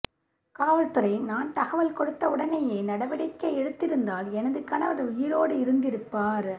காவல்துறை நான் தகவல் கொடுத்த உடனேயே நடவடிக்கை எடுத்திருந்தால் எனது கணவர் உயிரோடு இருந்திருப்பார்